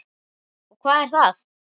Og hvað er það?